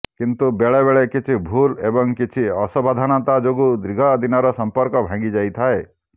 କିନ୍ତୁ ବେଳେବେଳେ କିଛି ଭୁଲ୍ ଏବଂ କିଛି ଅସାବଧାନତା ଯୋଗୁଁ ଦୀର୍ଘ ଦିନର ସମ୍ପର୍କ ଭାଙ୍ଗିଯାଇଥାଏ